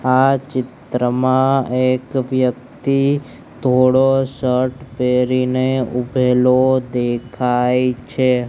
આ ચિત્રમાં એક વ્યક્તિ ધોળો શર્ટ પેરીને ઉભેલો દેખાય છે.